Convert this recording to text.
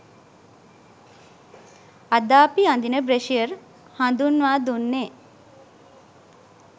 අද අපි අඳින බ්‍රෙෂියර් හඳුන්වා දුන්නෙ.